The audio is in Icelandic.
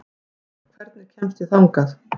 Bína, hvernig kemst ég þangað?